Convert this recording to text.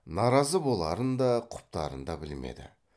наразы боларын да құптарын да білмеді